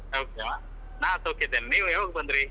ಹೌದಾ, ನಾನ್ ಸೌಖ್ಯ ಇದ್ದೇನೆ ನೀವು ಯಾವಾಗ ಬಂದ್ರಿ?